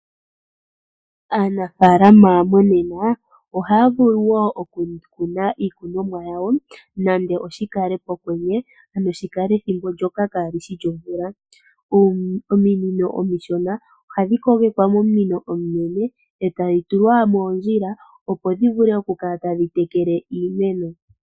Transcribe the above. Aanafaalama monena ohaya vulu wo okukuna iikunomwa yawo nande oshikale pokwenye ano shikale ethimbo ndyoka kaali shi lyomvula. Ominino omishona ohadhi kogekwa mominino ominene, etadhi tulwa moondjila opo dhivule okukala tadhi tekele iimeno.